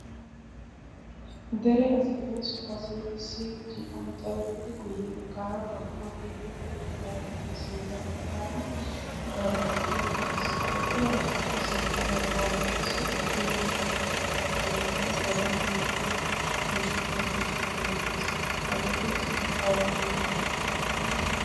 dere asainna so asai issi cian calettidi guyye baggaara qorqqoro keettiya keedhittidaagappe sintta baggaara daaro asayi eqqiis. ha eqqida asaappe sintta baggaara qassi issi buunddan kexettida keetteenne godan yuusshe yuishshettido keettay beettees. hageeti asati ai oottiyona?